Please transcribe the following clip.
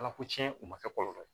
Ala ko cɛn u ma kɛ kɔlɔlɔ ye